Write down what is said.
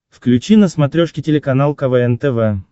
включи на смотрешке телеканал квн тв